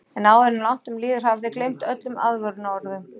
En áður en langt um líður hafa þeir gleymt öllum aðvörunarorðum.